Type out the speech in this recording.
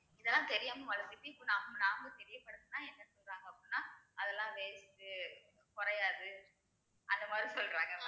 இதெல்லாம் தெரியாம வளர்த்திட்டு இப்போ நாம நம்ம தெரியப்படுத்துனா என்ன சொல்றாங்க அப்படின்னா அதெல்லாம் waste குறையாது அந்த மாதிரி சொல்றாங்க